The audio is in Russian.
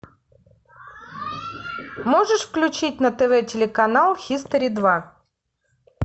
можешь включить на тв телеканал хистори два